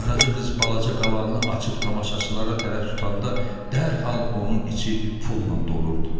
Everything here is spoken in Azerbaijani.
Qaraca qız balaca qavalını açıb tamaşaçılara tərəf tutanda dərhal onun içi pulla dolurdu.